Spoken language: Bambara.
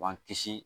B'an kisi